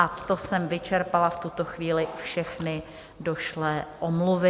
A to jsem vyčerpala v tuto chvíli všechny došlé omluvy.